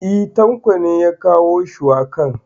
E ,Tanko ne ya kawo shuwakan.